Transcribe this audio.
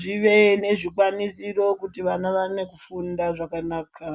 zvive nezvikwanisiro kuitira kuti vana vafunde zvakanaka.